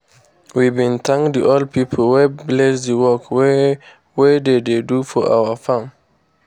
we bin thank the old pipo wey bless the work wey we dey dey do for our farm.